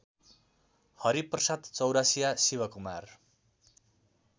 Hariprasad Chaurasia Shivkumar